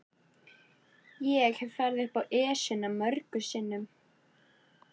Ég hef farið upp Esjuna mörgum sinnum.